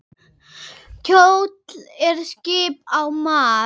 Kjóll er skip á mar.